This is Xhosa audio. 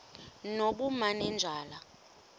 nobumanejala